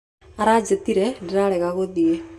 Aranjĩtire ndĩrarega gũthiĩ.